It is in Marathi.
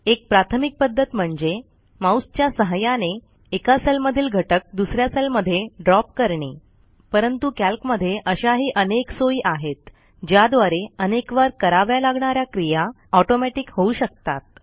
एक प्राथमिक पध्दत म्हणजे माऊसच्या सहाय्याने एका सेल मधील घटक दुस या सेलमध्ये ड्रॉप करणे परंतु कॅल्कमधे अशाही अनेक सोयी आहेत ज्याद्वारे अनेकवार कराव्या लागणा या क्रिया ऑटोमॅटिक होऊ शकतात